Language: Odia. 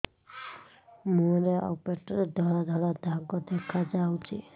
ମୁହଁରେ ଆଉ ପେଟରେ ଧଳା ଧଳା ଦାଗ ଦେଖାଯାଉଛି